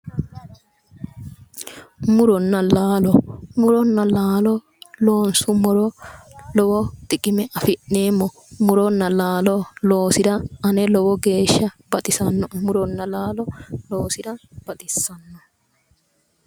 Muronna laalo muronna laalo loonsummoro lowo xiqime afi'neemmo muronna laalo loosira ane lowo geeshsha baxisannoe muronna laalo loosira baxissanno